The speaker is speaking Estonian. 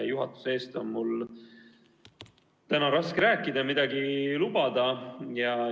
Juhatuse eest on mul täna raske rääkida, midagi lubada.